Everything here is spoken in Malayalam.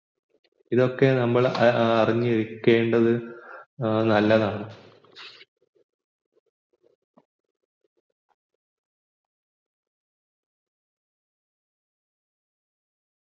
ഇതൊക്കെ നമ്മൾ അറിഞ്ഞു വെക്കുന്നത്ന ഏർ ല്ലതാണ്